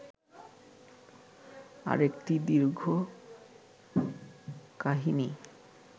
আরেকটি দীর্ঘ কাহিনী